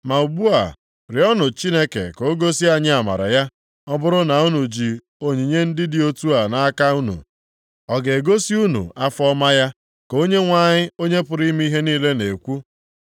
“Ma ugbu a, rịọọnụ Chineke ka o gosi anyị amara ya. Ọ bụrụ na unu ji onyinye ndị dị otu a nʼaka unu, ọ ga-egosi unu afọ ọma ya?” Ka Onyenwe anyị, Onye pụrụ ime ihe niile na-ekwu.